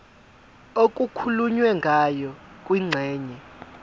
okukhulunywe ngayo kwingxenye